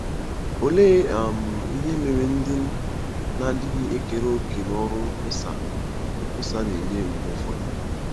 Olee um ihe mere ndị na-adịghị ekere òkè n’ọrụ nkwusa nkwusa na-enye mgbe ụfọdụ?